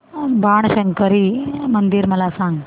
बाणशंकरी मंदिर मला सांग